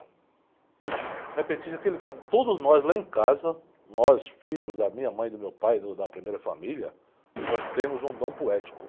O repentista é aquele cara... Todos nós lá em casa, nós filhos da minha mãe, do meu pai, do da primeira família, nós temos um dom poético.